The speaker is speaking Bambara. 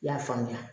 I y'a faamuya